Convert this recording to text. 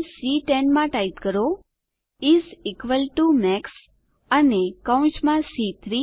cell સી10 માં type કરો ઇસ ઇક્વલ ટીઓ મેક્સ અને કૌંસમાં સી3